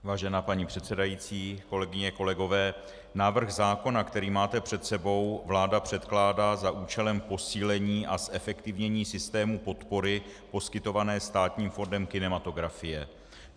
Vážená paní předsedající, kolegyně, kolegové, návrh zákona, který máte před sebou, vláda předkládá za účelem posílení a zefektivnění systému podpory poskytované Státním fondem kinematografie.